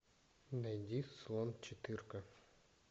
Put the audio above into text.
найди слон четырка